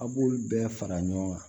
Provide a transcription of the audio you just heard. A' b'olu bɛɛ fara ɲɔgɔn kan